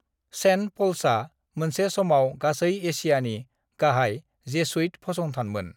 Saint पल्सआ मोनसे समाव गासै एशियानि गाहाय जेसुइट फसंथानमोन।